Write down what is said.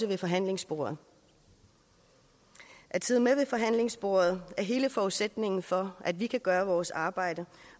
ved forhandlingsbordet at sidde med ved forhandlingsbordet er hele forudsætningen for at vi kan gøre vores arbejde